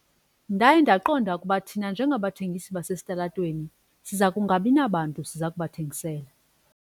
Ndaye ndaqonda ukuba thina njengabathengisi basesitalatweni siza kungabi nabantu siza kubathengisela.